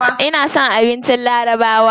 Ina son abincin larabawa.